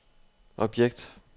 objekt